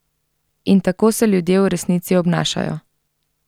In tako se ljudje v resnici obnašajo.